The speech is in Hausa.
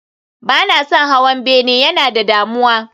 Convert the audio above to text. Ba na son hawan bene, yana da damuwa